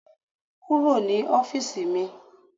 Kúrò ní ọ́fíìsì mi.